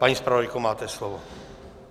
Paní zpravodajko, máte slovo.